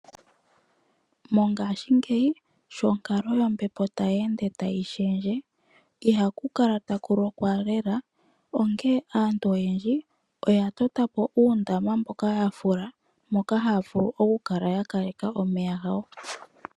Mongashingeyi sho onkalo yombepo tayi ende tayi shendje. Ihaku kala taku lokwa lela, onkee aantu oyendji oya totapo uundama mboka ya fula, moka haya vulu oku kaleka omeya gawo.